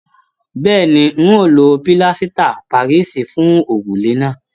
Bẹ́ẹ̀ni, n o lo pílásítà parisi fún òrùlé náà.